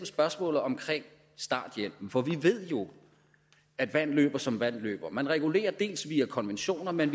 spørgsmålet om starthjælpen for vi ved jo at vand løber som vand løber man regulerer via konventioner men